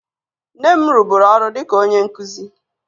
Nne m rụburu ọrụ dị ka onye nkụzi